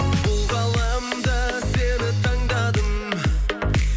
бұл ғаламда сені таңдадым